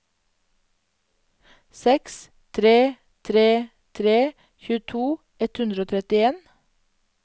seks tre tre tre tjueto ett hundre og trettien